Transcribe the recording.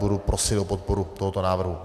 Budu prosit o podporu tohoto návrhu.